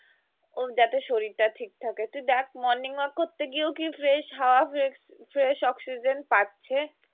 যাতে শরীরটা ঠিক থাকে তুই দেখ morning walk করতে গিয়ে কি fresh হাওয়া বা fresh অক্সিজেন পাচ্ছে